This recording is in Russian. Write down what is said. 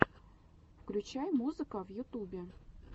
включай музыка в ютубе